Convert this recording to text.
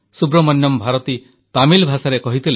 ସୁବ୍ରମଣ୍ୟମ୍ ଭାରତୀ ତାମିଲ ଭାଷାରେ କହିଥିଲେ